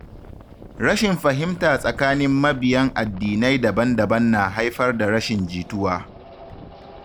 Rashin fahimta tsakanin mabiyan addinai daban-daban na haifar da rashin jituwa.